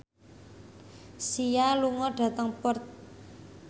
Sia lunga dhateng Perth